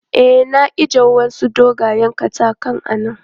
E, na ije wasu dogayen katakan a nan.